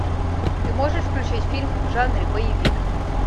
ты можешь включить фильм в жанре боевик